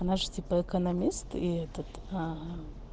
она же типа экономист и этот